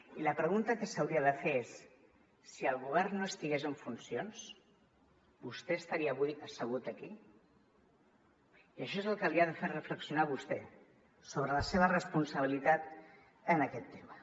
i la pregunta que s’hauria de fer és si el govern no estigués en funcions vostè estaria avui assegut aquí i això és el que l’ha de fer reflexionar a vostè sobre la seva responsabilitat en aquest tema